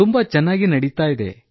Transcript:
ತುಂಬಾ ಚೆನ್ನಾಗಿ ನಡೆದಿದೆ